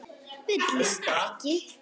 Villist ekki!